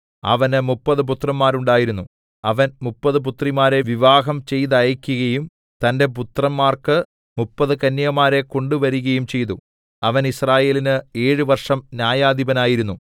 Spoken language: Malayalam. അവന് മുപ്പത് പുത്രന്മാർ ഉണ്ടായിരുന്നു അവൻ മുപ്പത് പുത്രിമാരെ വിവാഹം ചെയ്തയക്കുകയും തന്റെ പുത്രന്മാർക്കു മുപ്പത് കന്യകമാരെ കൊണ്ടുവരികയും ചെയ്തു അവൻ യിസ്രായേലിന് ഏഴ് വർഷം ന്യായാധിപനായിരുന്നു